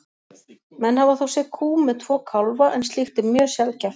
Menn hafa þó séð kú með tvo kálfa en slíkt er mjög sjaldgæft.